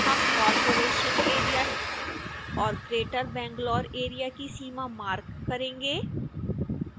हम corporation area और greater bangalore area की सीमा मार्क करेंगे